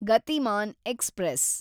Gatimaan express